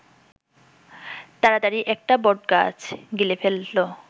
তাড়াতাড়ি একটা বটগাছ গিলে ফেলল